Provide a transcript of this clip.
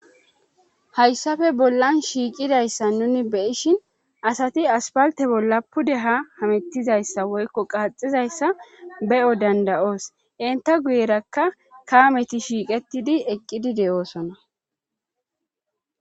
Hayssafe bollan shiiqidayssa nuni beyishin asati aspalte bolla pude ha hamettizayssa woykko qaaxizayssa be'o dandayoos inta guyerakka kaameti shiiqettidi eqqidi de'oosona.